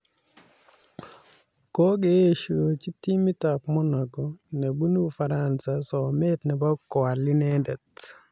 Kokeeshoji timitab Monaco nebunu Ufaransa somet nebo koal inendet